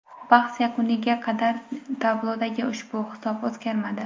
Bahs yakuniga qadar tablodagi ushbu hisob o‘zgarmadi.